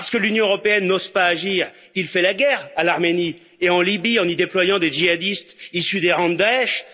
Parce que l'Union européenne n'ose pas agir, il fait la guerre à l'Arménie et en Libye, en y déployant des djihadistes issus des rangs de Daech.